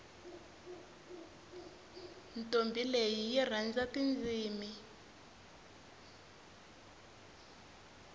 ntombhi leyi yi rhandza tindzimi